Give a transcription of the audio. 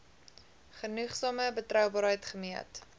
genoegsame betroubaarheid gemeet